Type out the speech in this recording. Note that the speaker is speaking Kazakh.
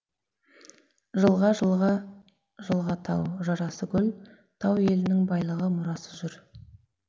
жылға жылға жылға тау жарасы гүл тау елінің байлығы мұрасы жыр